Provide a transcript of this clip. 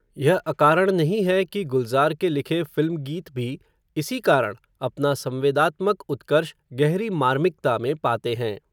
यह अकारण नहीं है, कि गुलज़ार के लिखे, फ़िल्म गीत भी, इसी कारण, अपना संवेदात्मक उत्कर्ष, गहरी मार्मिकता में पाते हैं